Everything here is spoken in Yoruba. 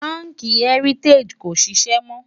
bánkì heritagií kò ṣiṣẹ mó